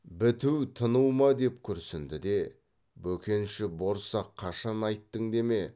біту тыну ма деп күрсінді де бөкенші борсақ қашан айттың деме